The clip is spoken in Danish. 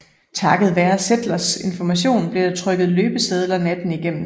Takket være Seltzers information blev der trykket løbesedler natten igennem